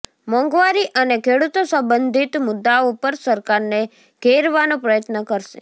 મોંઘવારી અને ખેડૂતો સંબંધિત મુદ્દાઓ પર સરકારને ઘેરવાનો પ્રયત્ન કરશે